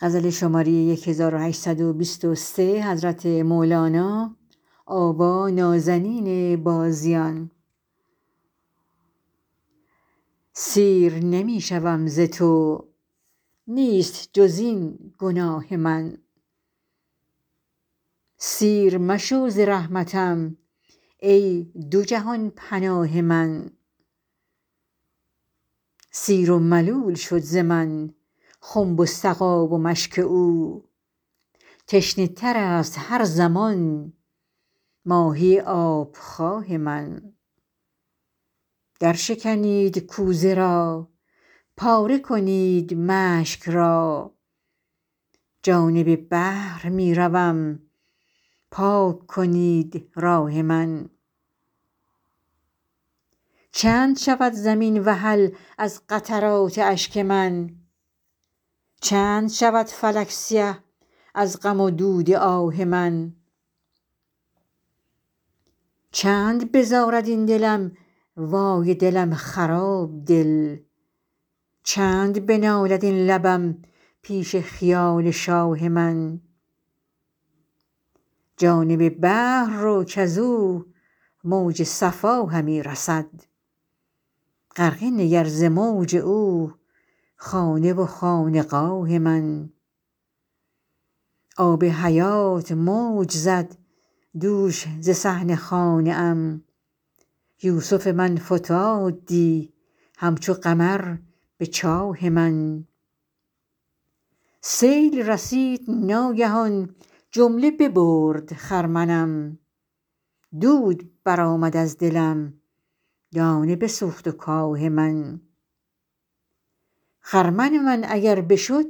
سیر نمی شوم ز تو نیست جز این گناه من سیر مشو ز رحمتم ای دو جهان پناه من سیر و ملول شد ز من خنب و سقا و مشک او تشنه تر است هر زمان ماهی آب خواه من درشکنید کوزه را پاره کنید مشک را جانب بحر می روم پاک کنید راه من چند شود زمین وحل از قطرات اشک من چند شود فلک سیه از غم و دود آه من چند بزارد این دلم وای دلم خراب دل چند بنالد این لبم پیش خیال شاه من جانب بحر رو کز او موج صفا همی رسد غرقه نگر ز موج او خانه و خانقاه من آب حیات موج زد دوش ز صحن خانه ام یوسف من فتاد دی همچو قمر به چاه من سیل رسید ناگهان جمله ببرد خرمنم دود برآمد از دلم دانه بسوخت و کاه من خرمن من اگر بشد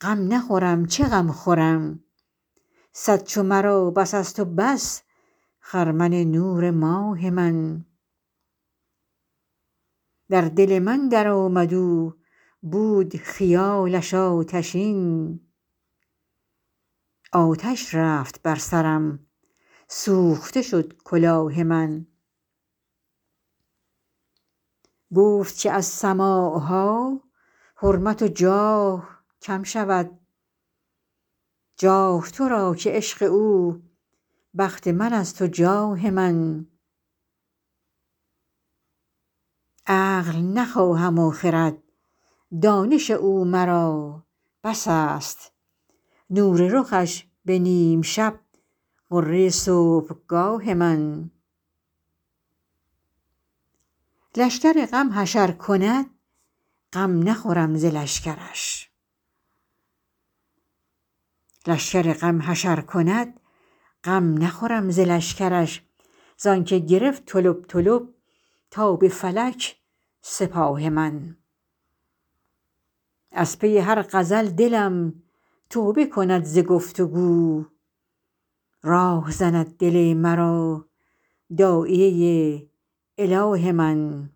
غم نخورم چه غم خورم صد چو مرا بس است و بس خرمن نور ماه من در دل من درآمد او بود خیالش آتشین آتش رفت بر سرم سوخته شد کلاه من گفت که از سماع ها حرمت و جاه کم شود جاه تو را که عشق او بخت من است و جاه من عقل نخواهم و خرد دانش او مرا بس است نور رخش به نیم شب غره صبحگاه من لشکر غم حشر کند غم نخورم ز لشکرش زانک گرفت طلب طلب تا به فلک سپاه من از پی هر غزل دلم توبه کند ز گفت و گو راه زند دل مرا داعیه اله من